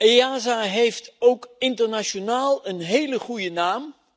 EASA heeft ook internationaal een hele goede naam.